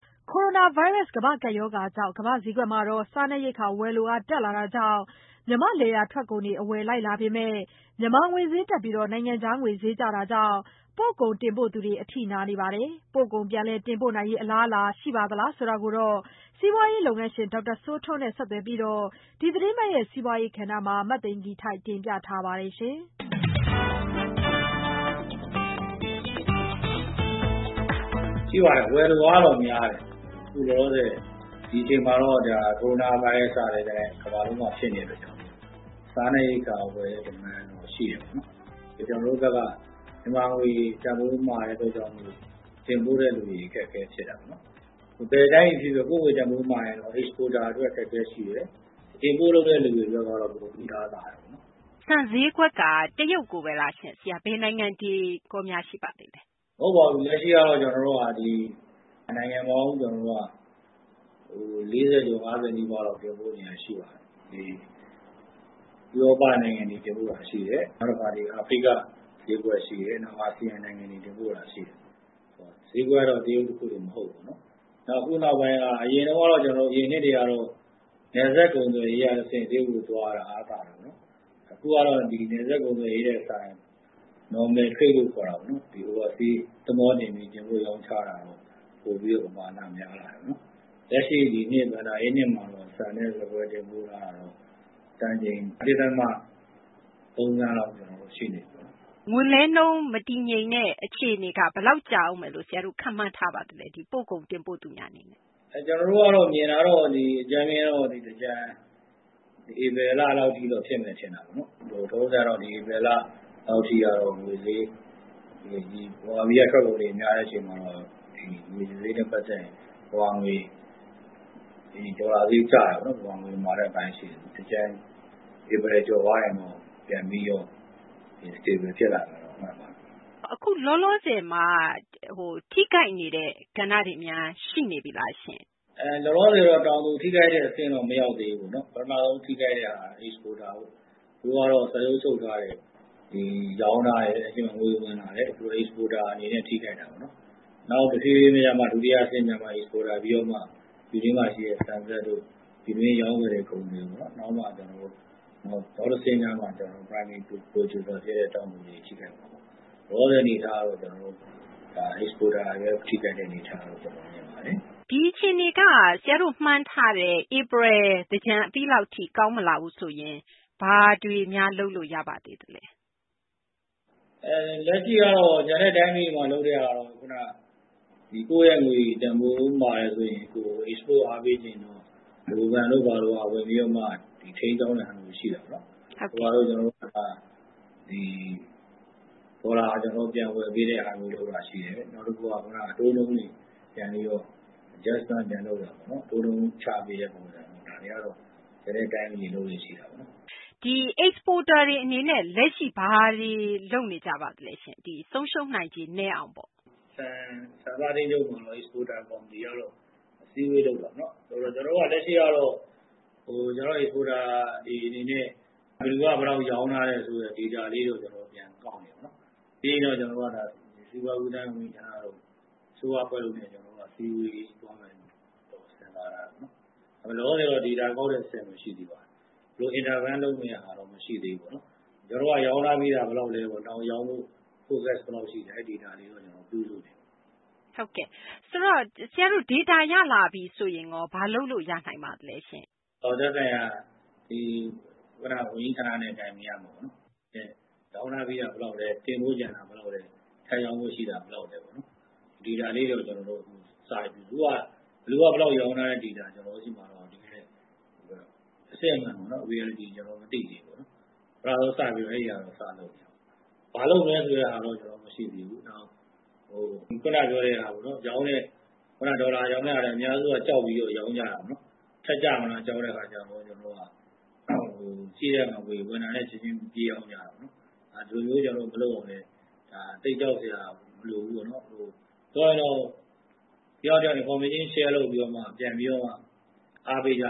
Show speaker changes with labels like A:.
A: ကိုရိုနာဗိုင်းရပ်စ် ကမ္ဘာ့ကပ်ရောဂါကြောင့် ကမ္ဘာ့ဈေးကွက်မှာ စားနပ်ရိက္ခာ ဝယ်လိုအား တက်လာတာကြောင့် မြန်မာ့ လယ်ယာ ထွက်ကုန်တွေ အဝယ်လိုက်လာပေမယ့် မြန်မာ ငွေဈေးတက်ပြီး နိုင်ငံခြားငွေ ဈေးကျတာကြောင့် ပို့ကုန် တင်ပို့သူတွေ အထိနာနေပါတယ်။ ပို့ကုန် ပြန်လည် တင်ပို့နိုင်ရေး အလားအလာ ရှိပါသေးသလားဆိုတာကို စီးပွားရေး လုပ်ငန်းရှင် ဒေါက်တာ စိုးထွန်းနဲ့ ဆက်သွယ်ပြီး ဒီသီတင်းပတ် စီးပွားရေး ကဏ္ဍမှာ မသိင်္ဂ ီထိုက် တင်ပြထားပါတယ်။
B: ရှိပါတယ်။ ဝယ်လိုအားကတော့ များတယ်။ အခုလောလောဆယ် ဒီအချိန်မှာတော့ ကိုရိုနာဗိုင်းရပ်စ်က တကမ္ဘာလုံးမှာ ဖြစ်နေတဲ့ အတွက်ကြောင့်မို့လို့ စားနပ်ရိက္ခာ ဝယ်တဲ့ Demand ကတော့ ရှိတယ်ပေါ့နော်။ ကျနော်တို့ဘက်က မြန်မာငွေ တန်ဖိုး မာတဲ့ အတွက်ကြောင့် မို့လို့ တင်ပို့တဲ့သူတွေ အခက်အခဲ ဖြစ်တာပေါ့နော်။ ဘယ်တိုင်းပြည် ဖြစ်ဖြစ် ကိုယ့်ငွေ တန်ဖိုးမာရင် Exporter အတွက် အခက်အခဲ ရှိတယ်၊ Import လုပ်တဲ့ လူတွေ အတွက်ကတော့ တအားသာတယ်ပေါ့နော်။
C: ဆန်ဈေးကွက်က တရုတ်ကိုဘဲလား ဆရာ ဘယ်နိုင်ငံတွေများ ရှိပါသေးလဲ။
B: မဟုတ်ပါဘူး။ အခုက လက်ရှိတော့ နိုင်ငံပေါင်း ၄၀ ကျော် ၅၀ နီးပါးလောက် တင်ပို့နေတာ ရှိပါတယ်။ ဥရောပ နိုင်ငံတွေ တင်ပို့တာ ရှိတယ်။ အာဖရိက ဈေးကွက် ရှိတယ်။ အာဆီယံ နိုင်ငံတွေ တင်ပို့တာ ရှိတယ်။ ဈေးကွက်ကတော့ တရုတ် တခုတင် မဟုတ်ဘူးပေါ့နော်။ နောက် အခုနောက်ပိုင်းက အရင်တုန်းကတော့ အရင်နှစ်တွေကတော့ နယ်စပ် ကုန်သွယ်ရေးက တဆင့် တရုတ်ကို သွားတာ အားသာတယ်ပေါ့နော်။ အခုကတော့ ဒီ နယ်စပ် ကုန်သွယ်ရေးထက် စာရင် Normal Trade လို့ ခေါ်တာပေါ့နော် Oversea သဘောၤတင်ပြီး တင်ပို့ရောင်းချတာ ပိုပြီးတော့ ပမာဏ များလာတယ်။ လက်ရှိ ဒီနှစ် ဘဏ္ဍာရေးနှစ် မှာတော့ ဆန်နဲ့ ဆန်ကွဲ တင်ပို့မှုက တန်ချိန် ၁ ဒသမ ၃ သန်းလောက် ရှိနေပြီပေါ့။
C: ငွေလဲနှုန်း မတည်ငြိမ်တဲ့ အခြေအနေက ဆရာတို့ ဘယ်လောက် ကြာဦးမယ်လို့ ခန့်မှန်းထားပါသလဲ။ ဒီ ပို့ကုန် တင်ပို့သူများ အနေနဲ့။
B: မြင်တာတော့ ဒီ အကြမ်းဖျဉ်းတော့ သင်္ကြန် ဧပြီလလောက်ထိတော့ ဖြစ်မယ် ထင်တာဘဲ။ လောလောဆယ်တော့ ဒီ ဧပြီလလောက်ထိ ငွေဈေး ဒီ ဗမာပြည်က ထွက်ကုန်တွေ များတဲ့ အချိန်မှာတော့ ဒီ ငွေဈေးနဲ့ ပတ်သက်ရင် ဒေါ်လာဈေး ကျတာပေါ့နော် ဗမာငွေ မာတဲ့ အပိုင်းရှိတယ်။ သင်္ကြန် ဧပြီ ကျော်သွားရင်တော့ ပြန်ပြီးတော့ တည်ငြိမ်လာမယ်လို့ မှန်းပါတယ်။
C: အခု လောလောဆယ်မှာ ထိခိုက်နေတဲ့ ကဏ္ဍတွေများ ရှိနေပြီလား။
B: လောလောဆယ်တော့ တောင်သူ ထိခိုက်တဲ့ အဆင့် ထိတော့ မရောက်သေးဘူးပေါ့နော်။ ပထမဆုံး ထိခိုက်တဲ့ဟာက Exporter ပေါ့။ သူတို့ကတော့ စာချုပ် ချုပ်ထားတယ်၊ ရောင်းထားတယ်၊ ငွေဝင်လာတယ်၊ Exporter အနေနဲ့ ထိခိုက်တာပေါ့နော်။ နောက် တဖြည်းဖြည်းနဲ့မှ ဒုတိယ အဆင့်ရောက်မှ Exporter ပြီးတော့မှ ပြည်တွင်းမှာ ရှိတဲ့ ဆန်စက်တို့ ၊ ပြည်တွင်း ရောင်းဝယ်တဲ့ ကုန်သည်တို့ နောက်တဆင့်ရောက်မှ Primary Producer တွေ ဖြစ်တဲ့ တောင်သူတွေ ထိခိုက်မှာ။ လောလောဆယ် အနေအထားကတော့ ကျနော်တို့ ဒါ Exporter တွေဘဲ ထိခိုက်တဲ့ အနေအထားလို့ ကျနော် မြင်ပါတယ်။
C: ဒီအခြေအနေက ဆရာတို့ မှန်းထားတဲ့ ဧပြီ သင်္ကြန် အပြီးလောက်ထိ ကောင်းမလာဘူးဆိုရင် ဘာတွေများ လုပ်လို့ ရပါသေးသလဲ။
B: လက်ရှိကတော့ ကျန်တဲ့ တိုင်းပြည်တွေမှာ လုပ်တဲ့ဟာကတော့ ခုန ကိုယ့်ရဲ့ ငွေတန်ဖိုးမာတယ်ဆိုရင် Export အားပေးချင်ရင်တော့ ဗဟိုဘဏ်တို့ ဘာတို့က ဝင်ပြီးတော့ ထိန်းကျောင်းတဲ့ ဟာမျိုး ရှိတာပေါ့။ ဒေါ်လာ ပြန်ဝယ်ပေးတဲ့ဟာမျိုး လုပ်တာ ရှိတယ်။ နောက်တခုက ခုန အတိုးနှုန်းတွေ ပြန်ပြီးတော့ Adjustment ပြန်လုပ်တာပေါ့နော် ၊ အတိုးနှုန်း ချပေးတဲ့ ပုံစံ ဒါတွေကတော့ ကျန်တဲ့ တိုင်းပြည်တွေ လုပ်လေ့ရှိတာပေါ့နော်။
C: ဒီ Exporter တွေ အနေနဲ့ လက်ရှိ ဘာတွေ လုပ်နေကြပါသလဲရှင့်။ ဆုံးရှုံးနိုင်ခြေ နည်းအောင်ပေါ့။
B: ဆန်စပါး အသင်းချုပ်က Exporter ကော်မတီကတော့ အစည်းအဝေး လုပ်တာပေါ့နော်။ ကျနော်တို့က လက်ရှိကတော့ ကျနော်တို့ Exporter တွေ အနေနဲ့ ဘယ်သူက ဘယ်လောက် ရောင်းထားတယ်ဆိုတဲ့ ဒေတာလေးတွေကိုတော့ ကျနော်တို့ ပြန်ကောက်နေတယ်ပေါ့နော်။ ပြီးရင်တော့ ကျနော်တို့ စီးပွားကူးသန်းတို့၊ အစိုးရ အဖွဲ့တို့နဲ့ ကျနော်တို့ အစည်းအဝေး သွားမယ်လို့တော့ ကျနော်တို့ စဉ်းစားထားတယ်။ လောလောဆယ်တော့ ဒေတာ ကောက်တဲ့ အဆင့်ဘဲ ရှိသေးတာပေါ့။ ဘယ်လို ကြားဝင် ဆောင်ရွက်မလဲ ဆိုတဲ့ဟာတော့ မရှိသေးဘူးပေါ့နော်။ ရောင်းထားပြီးတာ ဘယ်လောက်လဲပေါ့။ နောက် ရောင်းဖို့ Focus ဘယ်လောက် ရှိလဲ အဲဒီ ဒေတာလေးတွေ ပြုစုနေတယ်။
C: ဆိုတော့ ဆရာတို့ ဒေတာ ရလာတော့ရော ဘာလုပ်လို့ ရနိုင်ပါသလဲရှင့်။
B: သက်ဆိုင်ရာ ဝန်ကြီးဌာနနဲ့ တိုင်ပင်ရမှာပေါ့နော်။ ရောင်းထားပြီးတာ ဘယ်လောက်လဲ ၊ တင်ပို့ကျန်တာ ဘယ်လောက်လဲ၊ ထပ်ရောင်းဖို့ ရှိတာ ဘယ်လောက်လဲပေါ့။ ဒေတာလေးတွေတော့ စနေပြီ။ အခုဟာက ဘယ်သူက ဘယ်လောက် ရောင်းထားတဲ့ ဒေတာ ကျနော်တို့ ဆီမှာ အစစ်အမှန်ပေါ့နော်။ Reality ကျနော်တို့ မသိသေးဘူး။ ပထမဆုံး စပြီးတော့ အဲဒီဟာတော့ စလုပ်နေတယ်။ ဘာလုပ်မလဲ ဆိုတဲ့ဟာတော့ မရှိသေးဘူး။ ခုန ပြောတဲ့ဟာပေါ့နော် ရောင်းတဲ့ ဒေါ်လာရောင်းတဲ့ဟာလည်း အများစုက ကြောက်ပြီး ရောင်းကြတာပေါ့နော်။ ထပ်ကျလာမလား ကြောက်တဲ့ အခါကျတော့ ကျနော်တို့က ရှိတဲ့ငွေ ဝင်တာနဲ့ ချက်ချင်း ပြေးရောင်းကြတာပေါ့နော်။ ဒီလိုမျိုးတွေ မလုပ်အောင်လည်းဘဲ ဒါ သိပ်ကြောက်စရာ မလိုဘူးပေါ့နော်။ အခုကတော့ တယောက်နဲ့ တယောက် Information Share လုပ်ပြီးတော့ ပြန်ပြီးတော့ အားပေးကြ